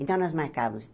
Então, nós marcávamos.